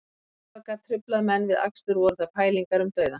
Ef eitthvað gat truflað menn við akstur voru það pælingar um dauðann